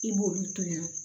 I b'olu to ye